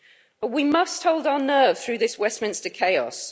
But we must hold our nerve through this Westminster chaos.